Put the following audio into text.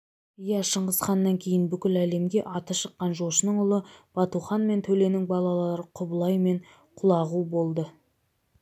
иә шыңғысханнан кейін бүкіл әлемге аты шыққан жошының ұлы батухан мен төленің балалары құбылай мен құлағу болды